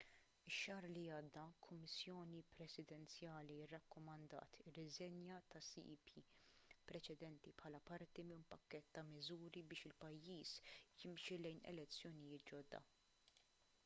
ix-xahar li għadda kummissjoni presidenzjali rrakkomandat ir-riżenja tas-cep preċedenti bħala parti minn pakkett ta' miżuri biex il-pajjiż jimxi lejn elezzjonijiet ġodda